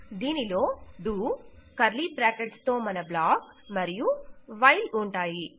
మనకు do curly brackets తో మన బ్లాక్ మరియు చివరగా వైల్ ఉంటాయి